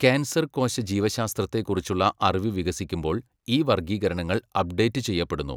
Cancer കോശ ജീവശാസ്ത്രത്തെക്കുറിച്ചുള്ള അറിവ് വികസിക്കുമ്പോൾ, ഈ വർഗ്ഗീകരണങ്ങൾ അപ്ഡേറ്റ് ചെയ്യപ്പെടുന്നു.